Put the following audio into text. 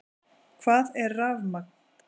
Hvað er rafmagn?